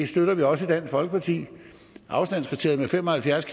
støtter vi også i dansk folkeparti afstandskriteriet på fem og halvfjerds